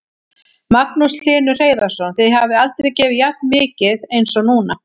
Magnús Hlynur Hreiðarsson: Þið hafið aldrei gefið jafn mikið eins og núna?